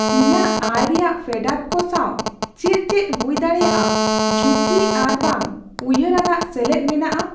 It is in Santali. ᱤᱧᱟᱹᱜ ᱟᱭ ᱨᱮᱭᱟᱜ ᱯᱷᱮᱰᱟᱛ ᱠᱚ ᱥᱟᱶ ᱪᱮᱫ ᱪᱮᱫ ᱦᱩᱭᱫᱟᱲᱮᱭᱟᱜ ᱡᱷᱩᱠᱤ ᱟᱨ ᱵᱟᱝ ᱩᱭᱦᱟᱹᱨ ᱟᱱᱟᱜ ᱥᱮᱞᱮᱫ ᱢᱮᱱᱟᱜᱼᱟ ?